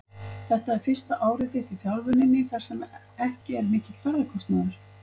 Þetta er fyrsta árið þitt í þjálfuninni þar sem ekki er mikill ferðakostnaður?